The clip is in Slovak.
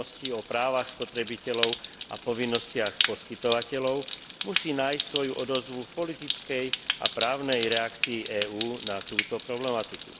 o právach spotrebiteľov a povinnostiach poskytovateľov, musí nájsť svoju odozvu v politickej a právnej reakcii EÚ na túto problematiku.